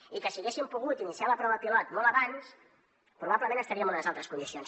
i que si haguéssim pogut iniciar la prova pilot molt abans probablement estaria en unes altres condicions